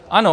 Ano.